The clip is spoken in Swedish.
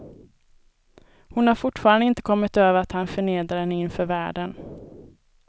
Hon har fortfarande inte kommit över att han förnedrade henne inför världen.